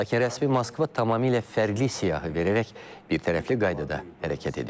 Lakin rəsmi Moskva tamamilə fərqli siyahı verərək birtərəfli qaydada hərəkət edib.